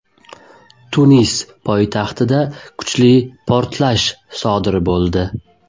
Tunis poytaxtida kuchli portlash sodir bo‘ldi .